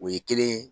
O ye kelen ye